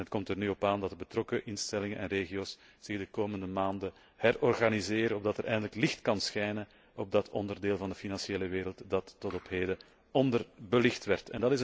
Het komt er nu op aan dat de betrokken instellingen en regio's zich de komende maanden herorganiseren opdat er eindelijk licht kan schijnen op dat onderdeel van de financiële wereld dat tot op heden onderbelicht is.